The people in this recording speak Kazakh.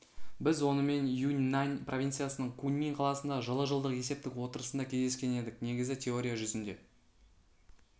біз онымен юньнань провинциясының куньмин қаласында жылы жылдық есептік отырысында кездескен едік негізі теория жүзінде